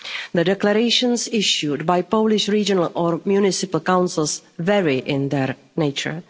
nature. The declarations issued by Polish regional or municipal councils vary in their